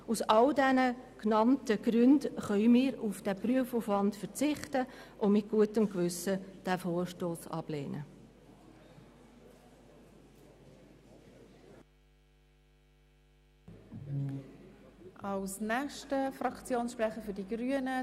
Aus diesen Gründen können wir auf diesen Prüfungsaufwand verzichten und diesen Vorstoss mit guten Gewissen ablehnen.